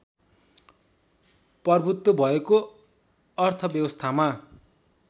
प्रभुत्व भएको अर्थव्यवस्थामा